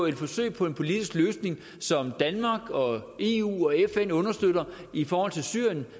et forsøg på en politisk løsning som danmark eu og fn understøtter i forhold til syrien